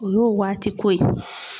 O y'o waati ko ye.